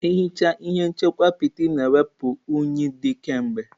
Ehichaa ihe nchekwa apịtị na-ewepụ unyi dị kemgbe.